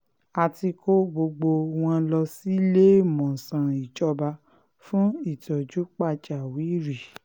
a ti kó gbogbo wọn lọ síléemọ̀sán ìjọba fún ìtọ́jú pàjáwìrì